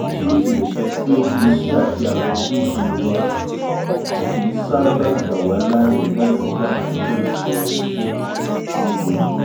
bí ó tilẹ̀ jẹ́pé iṣẹ́ àti àwọn ojúṣe wa ò kí n ṣábàá gbàwá láàyè láti dá àkókò ìsinmi sí lójoojúmọ́